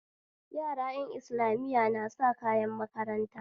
Yara ƴan islamiya na sa kayan makaranta